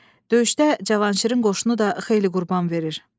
Döyüşdə Cavanşirin qoşunu da xeyli qurban verir.